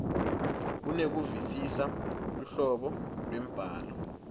kunekuvisisa luhlobo lwembhalo